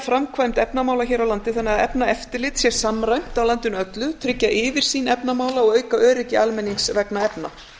framkvæmd efnamála hér á landi þannig að efnaeftirlit sé samræmt á landinu öllu og tryggja yfirsýn efnamála og auka öryggi almennings vegna efna